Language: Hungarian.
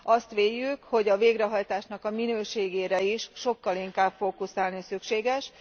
Azt véljük, hogy a végrehajtásnak a minőségére is sokkal inkább fókuszálni szükséges.